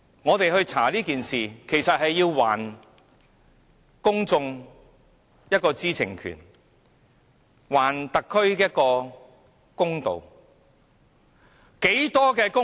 我們調查這事，便是要讓公眾知悉事實的真相，還特區政府一個公道。